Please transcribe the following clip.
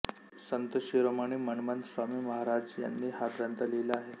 संत शिरोमणी मन्मथ स्वामी महाराज यांनी हा ग्रंथ लिहिला आहे